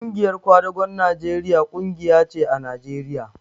Ƙungiyar kwadagon Najeriya ƙungiya ce a Najeriya